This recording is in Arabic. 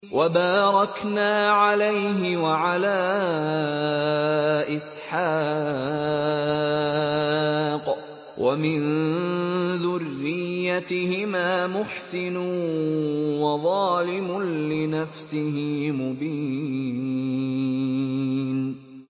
وَبَارَكْنَا عَلَيْهِ وَعَلَىٰ إِسْحَاقَ ۚ وَمِن ذُرِّيَّتِهِمَا مُحْسِنٌ وَظَالِمٌ لِّنَفْسِهِ مُبِينٌ